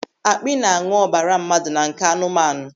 Àkpị na-añụ ọbara mmadụ na nke anụmanụ.